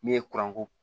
Min ye kuranko